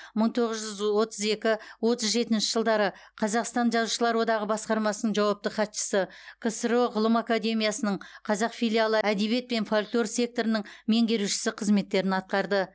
мың тоғыз жүз отыз екі отыз жетінші жылдары қазақстан жазушылар одағы басқармасының жауапты хатшысы ксро ғылым академиясының қазақ филиалы әдебиет пен фольклор секторының меңгерушісі қызметтерін атқарды